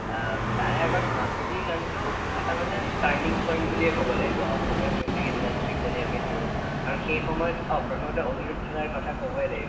অ, তাৰে আগত মাজুলীৰ কাৰণেতো এটা মানে turning point বুলিয়ে কব লাগীব অসমীয়া music industry ক যদি আমি ধৰো আৰু সেইসময়ত অ প্ৰথমতে অনিৰুদ্ধ দাৰ কথা কবই লাগিব